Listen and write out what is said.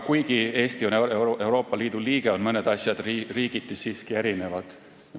Kuigi Eesti on Euroopa Liidu liige, on mõned asjad riigiti siiski erinevad.